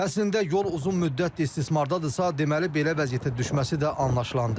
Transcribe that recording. Əslində yol uzun müddətdir istismardadırsa, deməli belə vəziyyətə düşməsi də anlaşılandır.